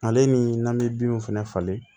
Ale ni n'a bɛ binw fɛnɛ falen